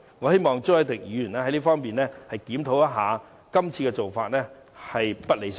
我希望朱凱廸議員能夠檢討一下，今次的做法實在並不理想。